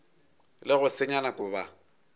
le go senya nako ba